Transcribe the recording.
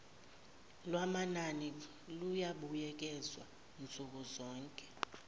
lwamanani luyobuyekezwa nsukuzonke